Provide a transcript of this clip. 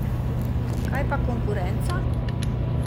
Kaj pa konkurenca?